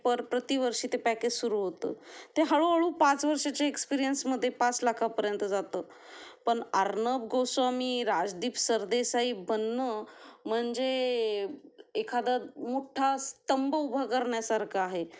पर प्रति वर्षी ते पॅकेज सुरू होतं, ते हळूहळू पाच वर्षा ची एक्स्प्रेस मध्ये पाच लाखा पर्यंत जातो पण अर्णब गोस्वामी राजदीप सरदेसाई बनणं म्हणजे एखादा मोठा स्तंभ उभा करण्या सारखे आहे